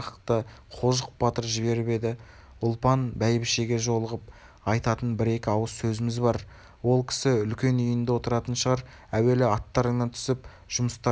қожық батыр жіберіп еді ұлпан бәйбішеге жолығып айтатын бір-екі ауыз сөзіміз бар ол кісі үлкен үйінде отыратын шығар әуелі аттарыңнан түсіп жұмыстарыңның жөнін